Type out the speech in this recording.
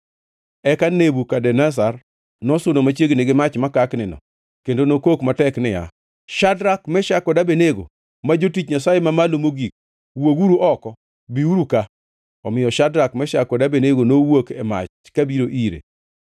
Eka Nebukadneza nosudo machiegni gi mach makaknino kendo nokok matek niya, “Shadrak, Meshak kod Abednego, ma jotich Nyasaye Mamalo Mogik, wuoguru oko! Biuru ka!” Omiyo Shadrak, Meshak kod Abednego nowuok e mach kabiro ire,